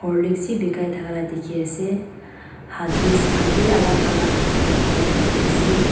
horlicks bi bikai thaka la dikhiase huggies khan bi alak alak thaka la dikhiase.